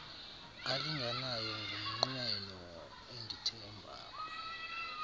alinganayo ngumnqweno endithemba